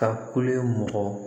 Taa kolo ye mɔgɔ